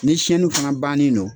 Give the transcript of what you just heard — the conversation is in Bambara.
Ni fana bannen don.